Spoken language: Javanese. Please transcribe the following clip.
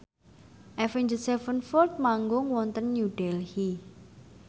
Avenged Sevenfold manggung wonten New Delhi